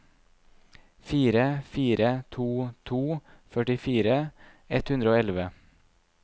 fire fire to to førtifire ett hundre og elleve